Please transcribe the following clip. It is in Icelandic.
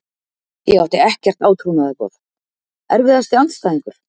Ég átti ekkert átrúnaðargoð Erfiðasti andstæðingur?